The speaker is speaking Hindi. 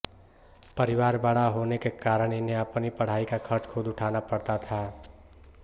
परिवार बड़ा होने के कारण इन्हें अपनी पढ़ाई का खर्च खुद उठाना पड़ता था